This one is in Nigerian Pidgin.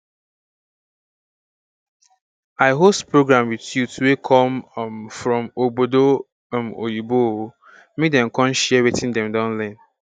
i host program with youth wey come um from ogbodo um oyinbo um make dem come share watin dem don learn